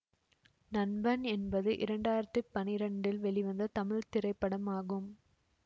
நண்பன் என்பது இரண்டாயிரத்தி பனிரெண்டில் வெளிவந்த தமிழ் திரைப்படம் ஆகும்